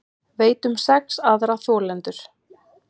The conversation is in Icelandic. Veit um sex aðra þolendur